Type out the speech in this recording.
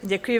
Děkuji.